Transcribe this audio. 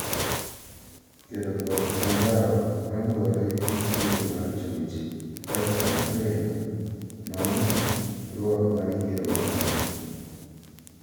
Kedo kod anjao ma luwore gi kido mar chuech, kaka kampen mar #RwakMaraYieroMara